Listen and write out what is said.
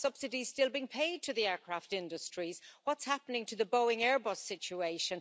Are subsidies still being paid to the aircraft industries? What's happening to the Boeing Airbus situation?